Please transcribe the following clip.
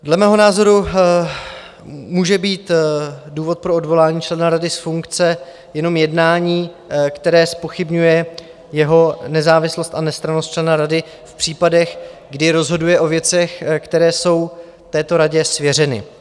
Dle mého názoru může být důvod pro odvolání člena rady z funkce jenom jednání, které zpochybňuje jeho nezávislost a nestrannost člena rady v případech, kdy rozhoduje o věcech, které jsou této radě svěřeny.